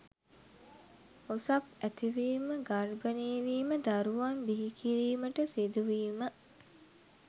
ඔසප් ඇතිවීම, ගර්භණී වීම, දරුවන් බිහිකිරීමට සිදුවීම